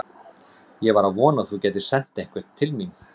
Ég var að vona að þú gætir sent einhvern til mín.